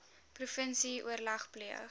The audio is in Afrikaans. provinsie oorleg pleeg